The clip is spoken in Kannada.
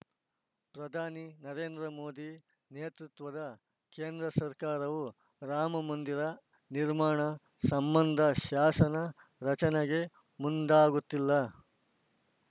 ಪ್ರಧಾನಿ ನರೇಂದ್ರ ಮೋದಿ ನೇತೃತ್ವದ ಕೇಂದ್ರ ಸರ್ಕಾರವು ರಾಮ ಮಂದಿರ ನಿರ್ಮಾಣ ಸಂಬಂಧ ಶಾಸನ ರಚನೆಗೆ ಮುಂದಾಗುತ್ತಿಲ್ಲ